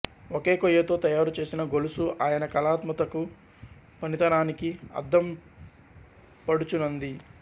ఒకే కొయ్యతో తయారుచేసిన గొలుసు ఆయన కళాత్మతకూ పనితనానికీ అద్దం పడుచునంది